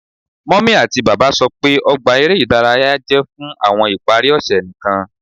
Mummy ati baba sọ pe ogba ere idaraya jẹ fun awọn ipari ose nikan